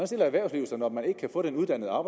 stiller erhvervslivet sig når man ikke kan få den uddannede